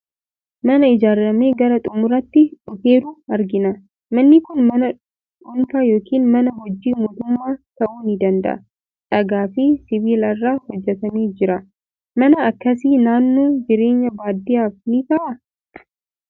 Mana ijaaramee gara xumuraatti dhufeeru argina. Manni kun mana dhuunfaa yookiin mana hojii mootummaa ta'uu ni danda'a. Dhagaa fi sibiila irraa hojjetamee jira. Mana akkasii naannoo jireenya baadiyyaaf ni ta'aa?